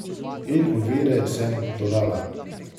In ovire, sem dodala.